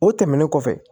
O tɛmɛnen kɔfɛ